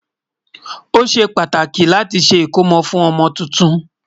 ọ̀sè kk láti ṣé ikòmó fún ọmọ túntùn